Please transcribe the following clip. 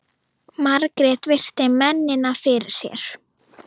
Margrét virti mennina fyrir sér.